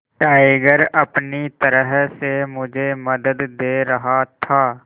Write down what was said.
tiger अपनी तरह से मुझे मदद दे रहा था